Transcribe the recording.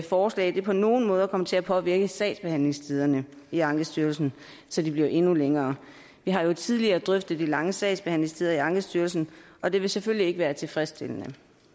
forslag på nogen måde vil komme til at påvirke sagsbehandlingstiderne i ankestyrelsen så de bliver endnu længere vi har jo tidligere drøftet de lange sagsbehandlingstider i ankestyrelsen og det vil selvfølgelig ikke være tilfredsstillende